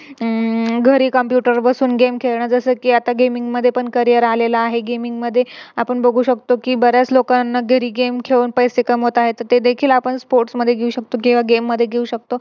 अह घरी Computer वर बसून Game जस कि आता Gaming मध्ये पण Career आलेलं आहे. Gaming मध्ये आपण बघू शकतो कि बऱ्याच लोकांना घरी Game खेळून पैसे कमवता येत. ते देखील Sports मध्ये घेऊ शकतो किव्हा Game मध्ये घेऊ शकतो